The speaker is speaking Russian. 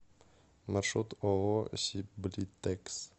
маршрут ооо сиблитекс